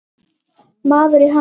Maður í hans stöðu.